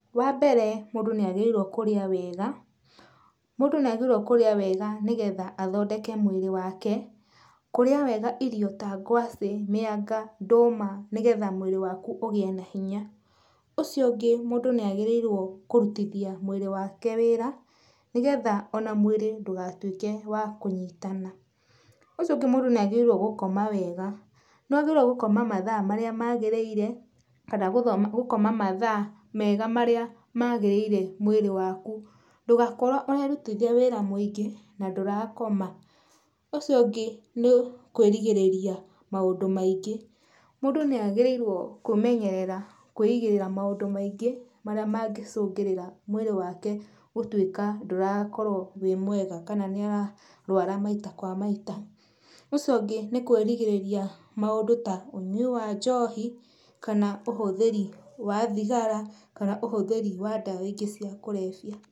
Wa mbere, mũndũ nĩ agĩrĩirwo kũrĩa wega. Mũndũ nĩ agĩrĩirwo kũrĩa wega nĩgetha athondeke mwĩrĩ wake, kũrĩa wega irio ta ngwace, mĩanga, ndũma, nĩgetha mwĩrĩ waku ugĩe na hinya. Ũcio ungĩ mũndũ nĩ agĩrĩirwo kũrutithia mwĩrĩ wake wĩra nĩgetha ona mwĩrĩ ndũgatuĩke wa kunyitana. Ũcio ũngĩ mũndũ nĩ agĩrĩirwo gũkoma wega. Nĩ wagĩrĩirwo gũkoma mathaa marĩa magĩrĩire, kana gũkoma mathaa mega marĩa magĩrĩire mwĩrĩ waku. Ndũgakorwo ũrarutithia wĩra mwĩingĩ na ndũrakoma. Ũcio ũngĩ nĩ kwĩrigĩrĩria maũndũ maingĩ. Mũndũ nĩ agĩrĩirwo kwĩmenyerera kwĩigĩrĩra maũndũ maingĩ marĩa mangĩcũngĩrĩra mwĩrĩ wake gũtuĩka ndũrakorwo wĩ mwega kana nĩ ara rũara maita kwa maita. Ũcio ũngĩ nĩ kwĩrigĩrĩria maũndũ ta ũnyui wa njohi, kana ũhuthĩri wa thigara, kana ũhũthĩri wa ndawa ingĩ cia kũrebya.